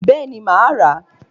Béeni, ma a ra